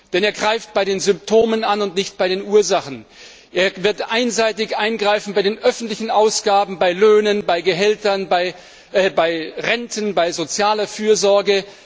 Denn er setzt bei den Symptomen an und nicht bei den Ursachen. Er wird einseitig eingreifen bei den öffentlichen Ausgaben, bei Löhnen, bei Gehältern, bei Renten, bei sozialer Fürsorge.